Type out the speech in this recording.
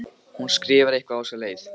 Hún skrifar eitthvað á þessa leið: